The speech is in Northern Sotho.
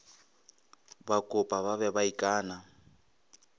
bakopa ba be ba ikana